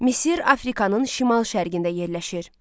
Misir Afrikanın şimal-şərqində yerləşir.